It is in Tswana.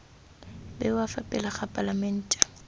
bewa fa pele ga palamente